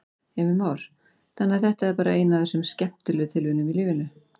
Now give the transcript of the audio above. Heimir Már: Þannig að þetta er bara ein af þessum skemmtilegu tilviljunum í lífinu?